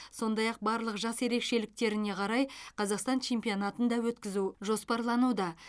сондай ақ барлық жас ерекшеліктеріне қарай қазақстан чемпионатын да өткізу жоспарлануда